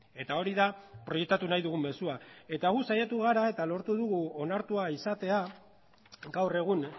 eta hori da proiektatu nahi dugun mezua eta gu saiatu gara eta lortu dugu onartua izatea gaur egun